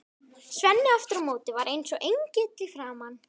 Svenni aftur á móti var eins og engill í framan.